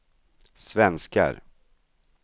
svenskar